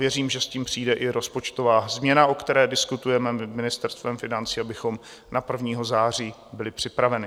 Věřím, že s tím přijde i rozpočtová změna, o které diskutujeme s Ministerstvem financí, abychom na 1. září byli připraveni.